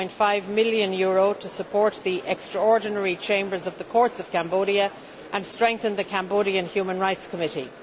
7.5 million to support the extraordinary chambers of the courts of Cambodia and strengthen the Cambodian Human Rights Committee.